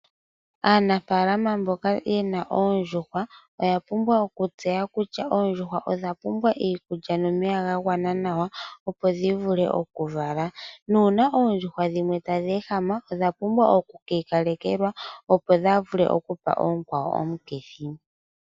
Aanafaalama mboka yena oondjuhwa oya pumbwa okutseya kutya oondjuhwa odha pumbwa iikulya nomeya ga gwana nawa opo dhivule okuvala. Nuuna oondjuhwa dhimwe tadhi ehama odha pumbwa okwiikalekelwa opo kaadhi vule okupa oonkwawo omukithi.